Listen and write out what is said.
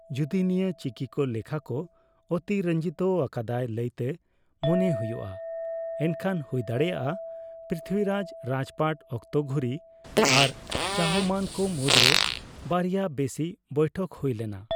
ᱡᱚᱫᱤ ᱱᱤᱭᱟ ᱪᱤᱠᱤᱠᱚ ᱞᱮᱠᱷᱟ ᱠᱚ ᱚᱛᱤᱨᱚᱧᱡᱤᱛ ᱟᱠᱟᱫᱟᱭ ᱞᱟᱹᱭᱛᱮ ᱢᱚᱱᱮ ᱦᱩᱭᱩᱜᱼᱟ, ᱮᱱᱠᱷᱟᱱ ᱦᱩᱭᱫᱟᱲᱮᱭᱟᱜᱼᱟ ᱯᱨᱤᱛᱷᱤᱵᱤᱨᱟᱡ ᱨᱟᱡᱽᱯᱟᱴ ᱚᱠᱛᱚ ᱜᱷᱩᱨᱤ ᱟᱨ ᱪᱟᱦᱚᱢᱟᱱ ᱠᱚ ᱢᱩᱫᱽᱨᱮ ᱵᱟᱨᱭᱟ ᱵᱮᱥᱤ ᱵᱚᱭᱴᱷᱚᱠ ᱦᱩᱭᱞᱮᱱᱟ᱾